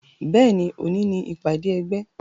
Bẹ́ẹ̀ni, òní ni ìpàdé ẹgbẹ́.